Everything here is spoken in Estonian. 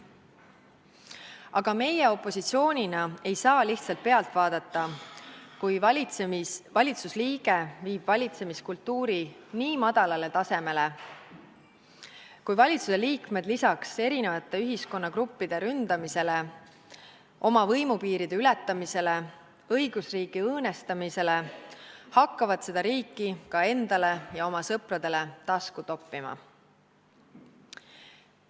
Aga meie opositsioonina ei saa lihtsalt pealt vaadata, kui valitsuse liige viib valitsemiskultuuri nii madalale tasemele, ja kui valitsuse liikmed lisaks eri ühiskonnagruppide ründamisele, oma võimupiiride ületamisele, õigusriigi õõnestamisele hakkavad seda riiki endale ja oma sõpradele tasku toppima.